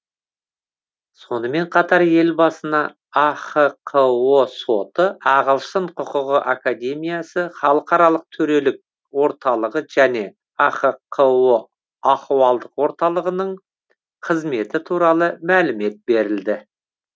сонымен қатар елбасына ахқо соты ағылшын құқығы академиясы халықаралық төрелік орталығы және ахқо ахуалдық орталығының қызметі туралы мәлімет берілді